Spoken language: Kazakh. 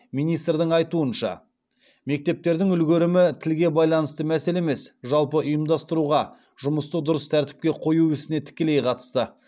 министрдің айтуынша мектептердің үлгерімі тілге байланысты мәселе емес жалпы ұйымдастыруға жұмысты дұрыс тәртіпке қою ісіне тікелей қатысты